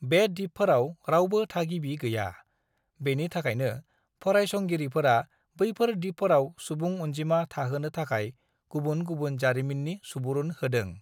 "बे दिपफोराव रावबो थागिबि गैया, बेनि थाखायनो फरायसंगिरिफोरा बैफोर दिपफोराव सुबुं अनजिमा थाहोनो थाखाय गुबुन गुबुन जारिमिननि सुबुरुन होदों।"